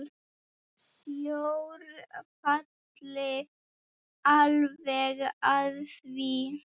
Sjór falli alveg að því.